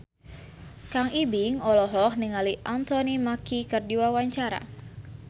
Kang Ibing olohok ningali Anthony Mackie keur diwawancara